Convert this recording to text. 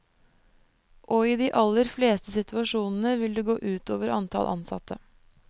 Og i de aller fleste situasjonene, vil det gå ut over antall ansatte.